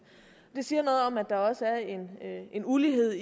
det siger noget om at der også er en ulighed